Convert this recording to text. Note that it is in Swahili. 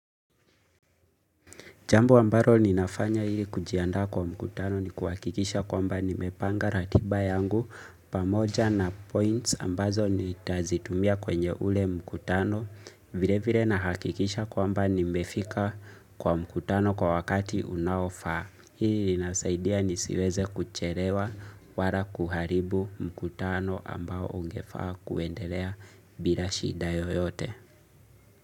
Jambo ambalo ninafanya ili kujiandaa kwa mkutano ni kuhakikisha kwamba nimepanga ratiba yangu pamoja na points ambazo nitazitumia kwenye ule mkutano vile vile nahakikisha kwamba nimefika kwa mkutano kwa wakati unaofaa. Hii inasaidia nisiweze kuchelewa wala kuharibu mkutano ambao ungefaa kuendelea bila shida yoyote.